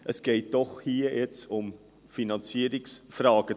Es geht doch um Finanzierungsfragen.